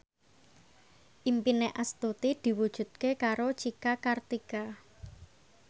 impine Astuti diwujudke karo Cika Kartika